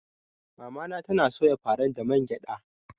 Mamana tana soya faran da man gyada.